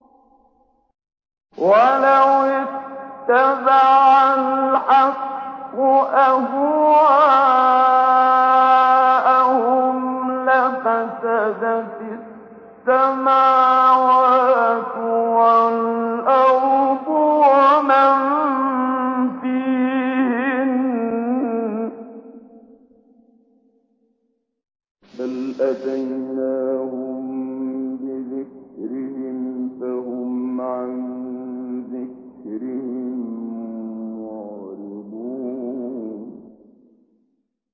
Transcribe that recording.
وَلَوِ اتَّبَعَ الْحَقُّ أَهْوَاءَهُمْ لَفَسَدَتِ السَّمَاوَاتُ وَالْأَرْضُ وَمَن فِيهِنَّ ۚ بَلْ أَتَيْنَاهُم بِذِكْرِهِمْ فَهُمْ عَن ذِكْرِهِم مُّعْرِضُونَ